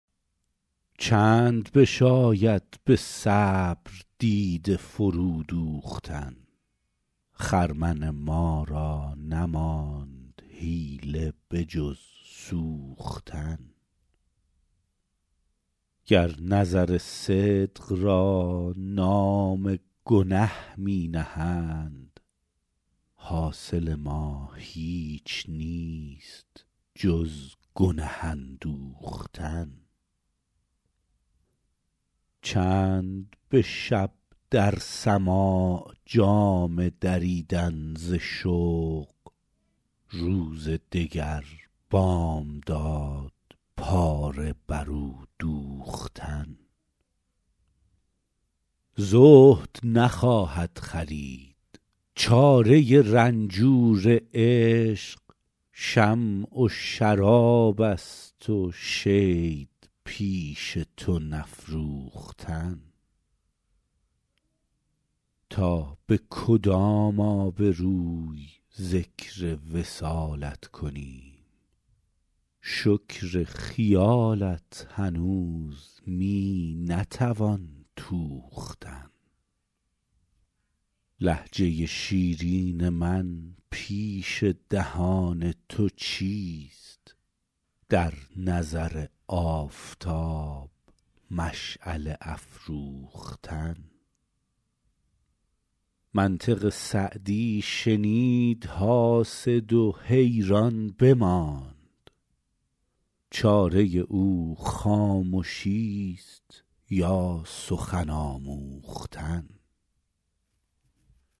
چند بشاید به صبر دیده فرو دوختن خرمن ما را نماند حیله به جز سوختن گر نظر صدق را نام گنه می نهند حاصل ما هیچ نیست جز گنه اندوختن چند به شب در سماع جامه دریدن ز شوق روز دگر بامداد پاره بر او دوختن زهد نخواهد خرید چاره رنجور عشق شمع و شراب است و شید پیش تو نفروختن تا به کدام آبروی ذکر وصالت کنیم شکر خیالت هنوز می نتوان توختن لهجه شیرین من پیش دهان تو چیست در نظر آفتاب مشعله افروختن منطق سعدی شنید حاسد و حیران بماند چاره او خامشیست یا سخن آموختن